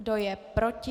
Kdo je proti?